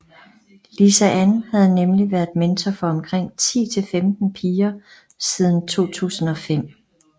Lisa Ann havde nemlig været mentor for omkring 10 til 15 piger siden 2005